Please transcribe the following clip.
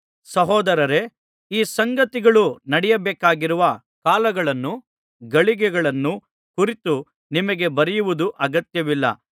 ಸಹೋದರರೇ ಈ ಸಂಗತಿಗಳು ನಡೆಯಬೇಕಾಗಿರುವ ಕಾಲಗಳನ್ನೂ ಗಳಿಗೆಗಳನ್ನೂ ಕುರಿತು ನಿಮಗೆ ಬರೆಯುವುದು ಅಗತ್ಯವಿಲ್ಲ